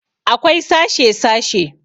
Akwai sashe -sashe